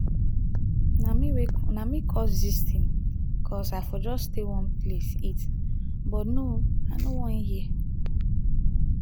a me wey na me cause this thing cos i for just stay one place eat but no oo i no wan hear